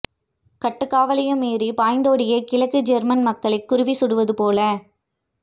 கட்டுக் காவலையும் மீறி பாய்ந்தோடிய கிழக்கு ஜேர்மன் மக்களை குருவி சுடுவது போல